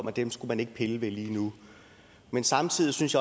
at dem skulle man ikke pille ved lige nu men samtidig synes